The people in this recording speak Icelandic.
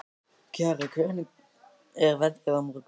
Kjarri, hvernig er veðrið á morgun?